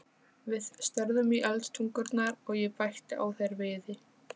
Við störðum í eldtungurnar, og ég bætti á þær viði.